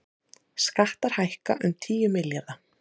Skattar hækka um tíu milljarða